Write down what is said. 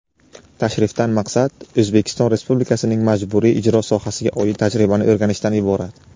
Tashrifdan maqsad — O‘zbekiston Respublikasining majburiy ijro sohasiga oid tajribani o‘rganishdan iborat.